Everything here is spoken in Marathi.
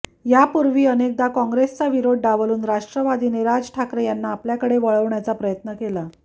यापूर्वी अनेकदा कॉंग्रेसचा विरोध डावलून राष्ट्रवादीने राज ठाकरे यांना आपल्याकडे वळवण्याचा प्रयत्न केला